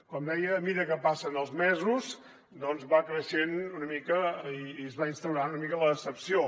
com deia a mesura que passen els mesos doncs va creixent una mica i es va instaurant una mica la decepció